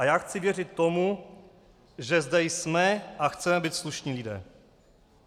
A já chci věřit tomu, že zde jsme a chceme být slušní lidé.